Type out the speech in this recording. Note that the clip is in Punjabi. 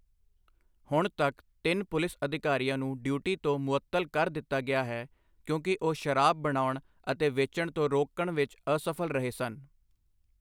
ਹੁਣ ਤੱਕ ਤਿੰਨ ਪੁਲਿਸ ਅਧਿਕਾਰੀਆਂ ਨੂੰ ਡਿਊਟੀ ਤੋਂ ਮੁਅੱਤਲ ਕਰ ਦਿੱਤਾ ਗਿਆ ਹੈ ਕਿਉਂਕਿ ਉਹ ਸ਼ਰਾਬ ਬਣਾਉਣ ਅਤੇ ਵੇਚਣ ਤੋਂ ਰੋਕਣ ਵਿੱਚ ਅਸਫ਼ਲ ਰਹੇ ਸਨ।